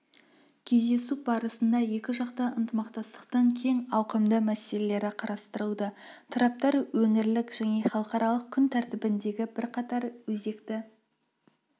кездесу барысында екіжақты ынтымақтастықтың кең ауқымды мәселелері қарастырылды тараптар өңірлік және халықаралық күн тәртібіндегі бірқатар өзекті